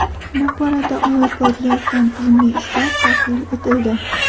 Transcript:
Bu borada olib borilayotgan tizimli ishlar tahlil etildi.